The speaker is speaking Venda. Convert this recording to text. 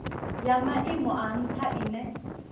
ya maimo a ntha ine